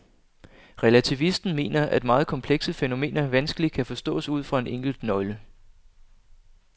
Relativisten mener at meget komplekse fænomener vanskeligt kan forstås ud fra en enkelt nøgle.